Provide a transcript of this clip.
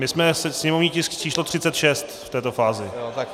My jsme sněmovní tisk číslo 36 v této fázi.